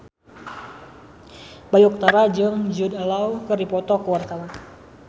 Bayu Octara jeung Jude Law keur dipoto ku wartawan